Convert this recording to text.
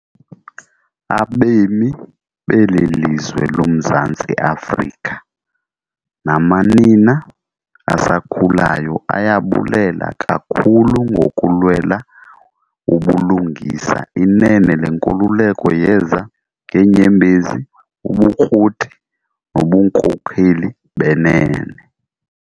Abembi beli lizwe lo Mzantsi Afrika namanina asakhulayo ayabulela kakhulu ngokulwela ubulungisa, inene le nkululeko yeza ngeenyembezi, ubukroti, nobunkokheli benene.